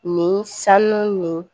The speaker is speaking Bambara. Nin sanu nin